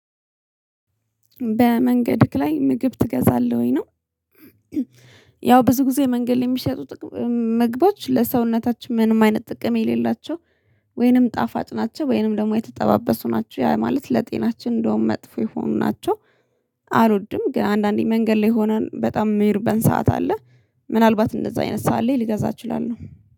በመንገድህ ላይ ምግብ ትገዛለህ ወይ? ነው ያው ብዙ ጊዜ መንገድ የሚሸጡት መግባት ለሰውነታችን ምንም አይነት ጥቅም የሌላቸው ወይንም ጣፋጭ ናቸው ወይንም ደግሞ የተጠባበሱ ናቸው ያ ማለት ለጤናችን እንደውም መጥፎ የሆኑ ናቸው አልወድም ግን አንዳንዴ መንገድ ላይ ሆነን በጣም የሚርበን ሰዓት አለ ምናልባት እንደዛ አይነት ሰዓት ላይ ልገዛ እችላለሁ